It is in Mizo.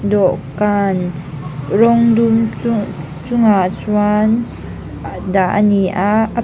dawhkan rawng dum chu chungah chuan dah a ni a a--